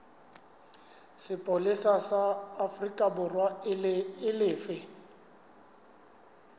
sepolesa sa aforikaborwa e lefe